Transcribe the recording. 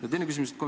Ja teine küsimus.